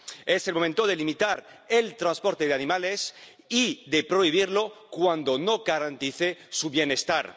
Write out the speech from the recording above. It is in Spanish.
Es el momento de limitar el transporte de animales y de prohibirlo cuando no garantice su bienestar.